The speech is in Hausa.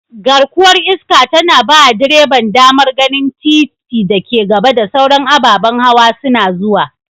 Garkuwar iska tana bawa direban damar ganin titin da ke gaba da sauran ababan hawa suna zuwa.